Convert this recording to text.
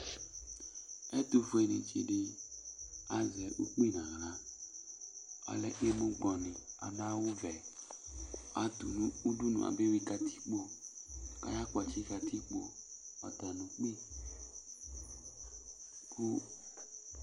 Ɛtʋfueni tsi di azɛ ukpi n'aɣla, alɛ emu gbɔni, adʋ awʋ vɛ, atʋ nʋ udunu ab'eyui katikpo, k'aya kpɔtsi katikpo, ɔya nʋ ukpi